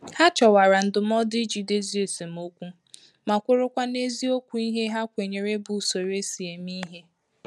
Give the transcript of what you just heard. Ha chọwara ndụmọdụ iji dozie esemokwu ma kwụrụ̀ kwa n'ezi okwu ìhè ha kwenyere bụ usoro esi eme ìhè.